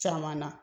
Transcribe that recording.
Caman na